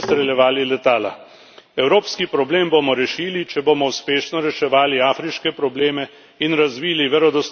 Evropski problem bomo rešili, če bomo uspešno reševali afriške probleme in razvili verodostojno partnerstvo s Turčijo.